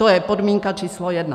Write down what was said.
To je podmínka číslo jedna.